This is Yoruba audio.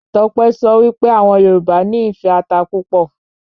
Tọ́pẹ́ sọ wí pé àwọn Yorùbá nì ìfẹ́ ata púpọ̀